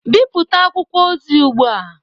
Bipụta akwụkwọ ozi ugbu a!